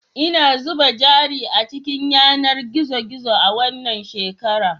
Ina zuba jari a cikin yanar gizo gizo a wannan shekara